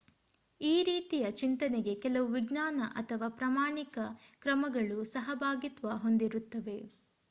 ಈ ರೀತಿಯ ಚಿಂತನೆಗೆ ಕೆಲವು ವಿಜ್ಞಾನ ಅಥವಾ ಪ್ರಮಾಣಿತ ಕ್ರಮಗಳು ಸಹಭಾಗಿತ್ವ ಹೊಂದಿರುತ್ತವೆ